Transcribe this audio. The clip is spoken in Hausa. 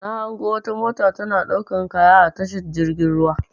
Na hango wata mota tana ɗaukan kaya a tashar jirgin ruwa.